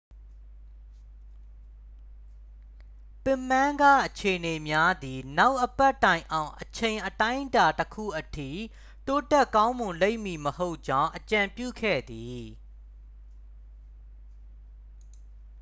ပစ်မန်းက အခြေအနေများသည် နောက်အပတ်တိုင်အောင် အချိန်အတိုင်းအတာတစ်ခုအထိ တိုးတက်ကောင်းမွန်လိမ့်မည်မဟုတ်ကြောင်း အကြံပြုခဲ့သည်